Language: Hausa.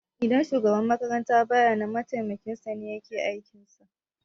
Idan shugaban makaranta baya nan mataimakin sane yake aikin sa